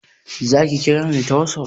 Zaki kira ni ta WhatsApp?